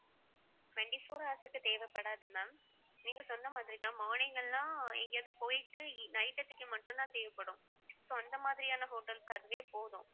twenty-four hours க்கு தேவைப்படாது ma'am நீங்க சொன்ன மாதிரி தான் morning எல்லாம் எங்கேயாவது போயிட்டு eve~ மட்டும்தான் தேவைப்படும் so அந்த மாதிரியான hotels அதுவே போதும்